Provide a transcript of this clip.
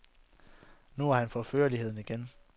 Nu har han fået førligheden igen.